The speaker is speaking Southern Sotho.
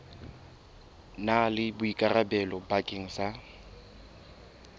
na le boikarabelo bakeng sa